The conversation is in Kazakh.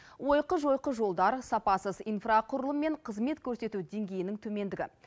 ойқы жойқы жолдар сапасыз инфрақұрылым мен қызмет көрсету деңгейінің төмендігі